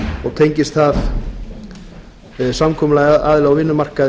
og tengist það samkomulagi aðila á vinnumarkaði